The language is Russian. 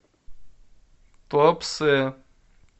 туапсе